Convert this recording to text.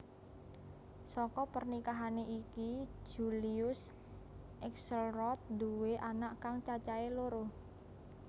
Saka pernikahané iki Julius Axelrod nduwé anak kang cacahé loro